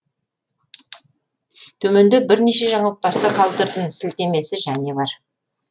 төменде бірнеше жаңылтпашты қалдырдым сілтемесі және бар